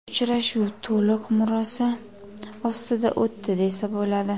Uchrashuv to‘liq murosa ostida o‘tdi desa bo‘ladi.